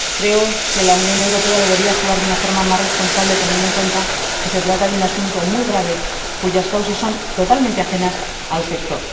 Creo que la Unión Europea debería actuar de una forma más responsable, teniendo en cuenta que se trata de un asunto muy grave cuyas causas son totalmente ajenas al sector.